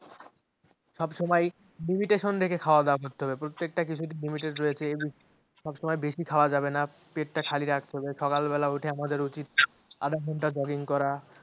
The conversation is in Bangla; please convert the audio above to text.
সব সময় limitation রেখে খাওয়া দাওয়া করতে হবে প্রত্যেকটা কিছুতে limit রেখে সব সময়ে বেশি খাওয়া যাবে না পেটটা খালি রাখতে হবে। সকাল বেলা উঠে আমাদের উচিত আধা ঘন্টা jogging করা